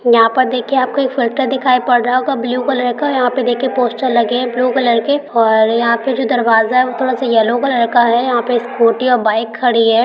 यहां पर देखिए आपको एक फ़िल्टर दिखाई पड़ रहा होगा ब्लू कलर का यहां पर देखिए पोस्टर लगे हैं ब्लू कलर के और यहां पे जो दरवाजा है वह थोड़ा येलो कलर का है यहां पे स्कूटी और बाइक खड़ी है।